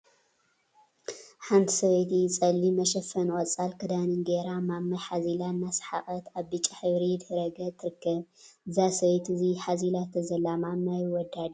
ሓንቲ ሰበይቲ ፀሊም መሸፈንን ቆፃል ክዳንን ገይራ ማማይ ሓዚላ እናሰሓቀት አበ ብጫ ሕብሪ ድሕረ ገፅ ትርከብ፡፡ እዛ ሰበይቲ እቲ ሓዚላቶ ዘላ ማማይ ወዳ ድዩ?